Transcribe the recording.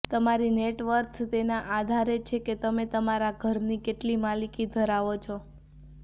તમારી net worth તેના આધારે છે કે તમે તમારા ઘરની કેટલી માલિકી ધરાવો છો